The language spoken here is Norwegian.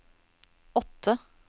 åtte